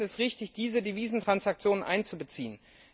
Wir finden es richtig, diese Devisentransaktionen einzubeziehen.